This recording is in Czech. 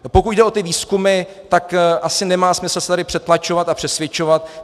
Pokud jde o ty výzkumy, tak asi nemá smysl se tady přetlačovat a přesvědčovat.